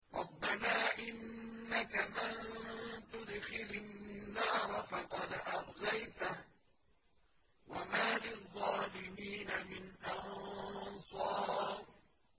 رَبَّنَا إِنَّكَ مَن تُدْخِلِ النَّارَ فَقَدْ أَخْزَيْتَهُ ۖ وَمَا لِلظَّالِمِينَ مِنْ أَنصَارٍ